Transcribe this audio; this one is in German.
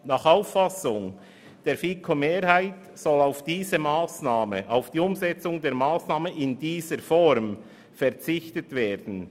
Nach Auffassung der FiKo-Mehrheit soll auf die Umsetzung dieser Massnahme in der vorgesehenen Form verzichtet werden.